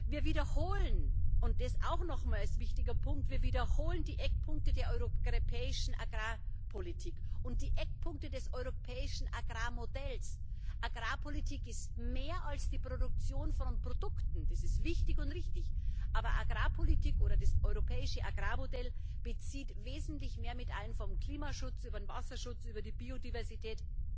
Wir wiederholen und das auch noch als wichtigen Punkt die Eckpunkte der europäischen Agrarpolitik und die Eckpunkte des europäischen Agrarmodells. Agrarpolitik ist mehr als die Produktion von Produkten das ist wichtig und richtig, aber Agrarpolitik oder das europäische Agrarmodell bezieht wesentlich mehr mit ein vom Klimaschutz über den Wasserschutz über die Biodiversität.